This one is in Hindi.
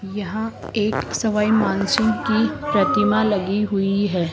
यहां एक सवाई मानसिंह की प्रतिमा लगी हुई है।